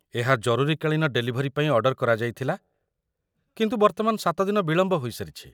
ଏହା ଜରୁରୀକାଳୀନ ଡେଲିଭରୀ ପାଇଁ ଅର୍ଡର କରାଯାଇଥିଲା କିନ୍ତୁ ବର୍ତ୍ତମାନ ୭ ଦିନ ବିଳମ୍ବ ହୋଇସାରିଛି।